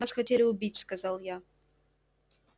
нас хотели убить сказал я